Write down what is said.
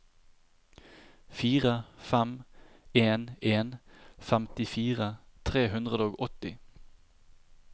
fire fem en en femtifire tre hundre og åtti